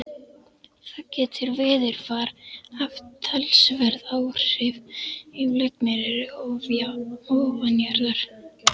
Þar getur veðurfar haft talsverð áhrif ef lagnir eru ofanjarðar.